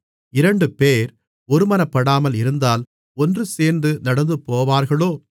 இரண்டுபேர் ஒருமனப்படாமல் இருந்தால் ஒன்றுசேர்ந்து நடந்துபோவார்களோ